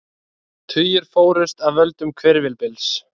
Tugir fórust af völdum hvirfilbyls